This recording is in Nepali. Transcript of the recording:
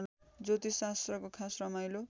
ज्योतिषशास्त्रको खास रमाइलो